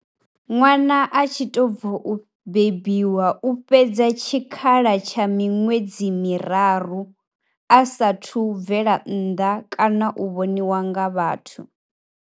Ṅwana a tshi to bvo u bebiwa u fhedza tshikhala tsha miṅwedzi miraru a saathu bvela nnḓa kana u vhoniwa nga vhathu.